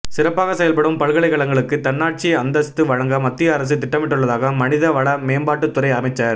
சிறப்பாக செயல்படும் பல்கலைக்கழகங்களுக்கு தன்னாட்சி அந்தஸ்து வழங்க மத்திய அரசு திட்டமிட்டுள்ளதாக மனித வள மேம்பாட்டுத்துறை அமைச்சர்